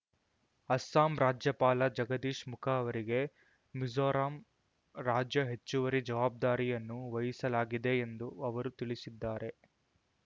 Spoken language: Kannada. ಅಸ್ಸಾಂ ರಾಜ್ಯಪಾಲ ಜಗದೀಶ್ ಮುಖ ಅವರಿಗೆ ಮಿಜೋರಾಂ ರಾಜ್ಯ ಹೆಚ್ಚುವರಿ ಜವಾಬ್ದಾರಿಯನ್ನು ವಹಿಸಲಾಗಿದೆ ಎಂದು ಅವರು ತಿಳಿಸಿದ್ದಾರೆ